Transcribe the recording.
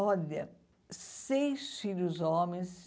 Olha, seis filhos homens...